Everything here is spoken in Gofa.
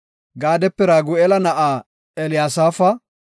Gaadape Ragu7eela na7aa Elyaasafa;